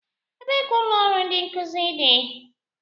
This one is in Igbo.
Ebee ka ụlọ ọrụ ndi nkuzi dị?